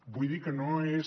vull dir que no és